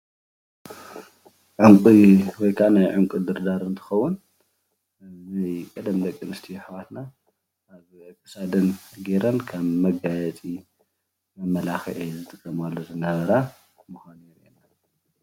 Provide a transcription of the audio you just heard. ዕንቁ ወይከዓ ናይ ዕንቁ ድርዳር እንትኸውን ናይ ቀደም ደቂኣንስትዩ ኣሕዋትና ኣብ ኽሳደን ጌይረን ኸም መጋየፂ መመላኽዒ ዝጥቀማሉ ዝነበራ ምካኑ የርእየና።